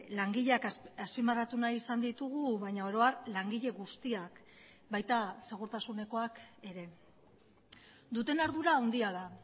langileak azpimarratu nahi izan ditugu baina oro har langile guztiak baita segurtasunekoak ere duten ardura handia da